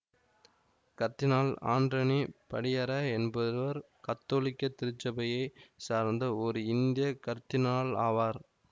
கர்தினால் Anthony Padiyara என்பவர் கத்தோலிக்க திருச்சபையைச் சார்ந்த ஓர் இந்திய கர்தினால் ஆவார்